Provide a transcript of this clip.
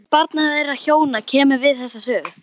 Ekkert barna þeirra hjóna kemur við þessa sögu.